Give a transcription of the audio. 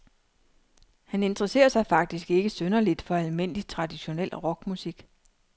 Han interesserer sig faktisk ikke synderligt for almindelig traditionel rockmusik.